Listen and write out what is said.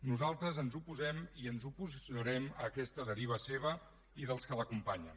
nosaltres ens oposem i ens oposarem a aquesta deriva seva i dels que l’acompanyen